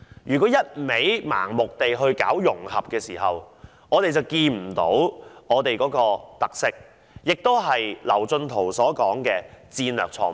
若然盲目推行融合，便會忽視香港的特色，這亦是劉進圖所說的"戰略錯誤"。